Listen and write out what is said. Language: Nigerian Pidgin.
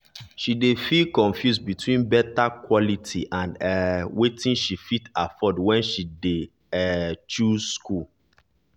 she dey feel confuse between better quality and um wetin she fit afford when she dey um choose school.